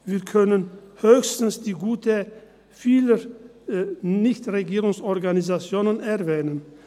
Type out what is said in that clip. Wir können höchstens die gute Arbeit vieler Nichtregierungsorganisationen erwähnen.